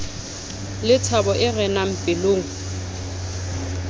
le thabo e renang pelong